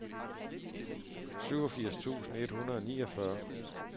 syvogfirs tusind et hundrede og niogfyrre